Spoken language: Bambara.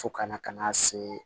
Fo kana ka na se